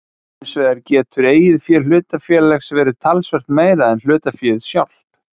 Hinsvegar getur eigið fé hlutafélags verið talsvert meira en hlutaféð sjálft.